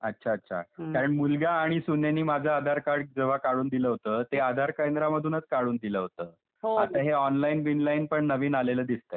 अच्छा अच्छा, कारण मुलगा आणि सुनेनी माझं आधार कार्ड जेंव्हा काढून दिलं होतं ते आधार केंद्रामधूनच काढून दिल होत आता हे ऑनलाईन बिनलाईन नवीनच आलेलं दिसते काहीतरी .